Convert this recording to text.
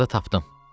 Axırda tapdım.